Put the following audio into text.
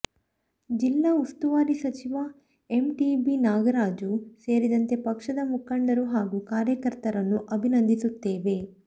ಜಿಲ್ಲಾ ಉಸ್ತುವಾರಿ ಸಚಿವ ಎಂಟಿಬಿ ನಾಗರಾಜು ಸೇರಿದಂತೆ ಪಕ್ಷದ ಮುಖಂಡರು ಹಾಗೂ ಕಾರ್ಯಕರ್ತರನ್ನು ಅಭಿನಂದಿಸುತ್ತೇನೆ